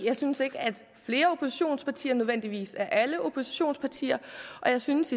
jeg synes ikke at flere oppositionspartier nødvendigvis er alle oppositionspartier jeg synes